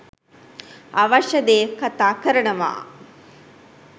අවශ්‍ය දේ කතා කරනවා